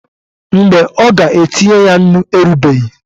Mgbe ọ ga-etinye ya nnu erubeghị.